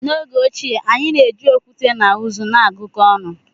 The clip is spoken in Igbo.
N'oge ochie, anyị na-eji okwute na uzu na-agụkọ ọnụ.